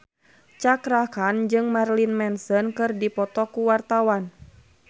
Cakra Khan jeung Marilyn Manson keur dipoto ku wartawan